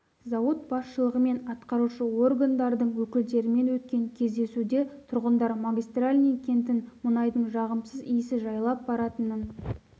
зауыт басшылығы және атқарушы органдардың өкілдерімен өткен кездесуде тұрғындар магистральный кентін мұнайдың жағымсыз иісі жайлап баратынын